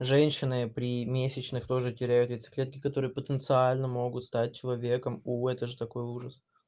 женщины при месячных тоже теряют яйцеклетки которые потенциально могут стать человеком увы это же такой ужас